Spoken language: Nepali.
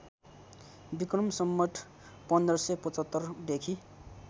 विक्रम सम्वत १५७५ देखि